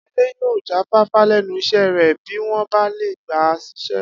Adé yóò jáfáfá lé̩nu is̩é̩ rè̩ bí wó̩n bá lè gbà á sís̩é̩